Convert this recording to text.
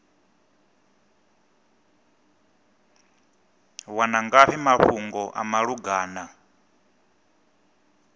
wana ngafhi mafhungo a malugana